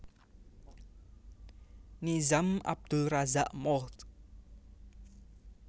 Nizam Abdul Razak Mohd